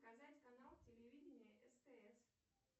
показать канал телевидения стс